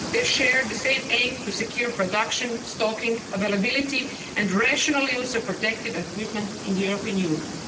They share the same aim to secure production, stocking, availability and rational use of protective equipment in the European Union.